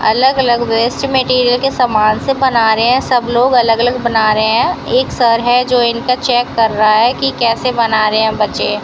अलग अलग waste material के सामान से बना रहे हैं सब लोग अलग अलग बना रहे हैं एक सर हैं जो इनका चेक कर रहा है कि कैसे बना रहे हैं बच्चे।